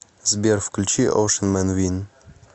сбер включи оушен мэн вин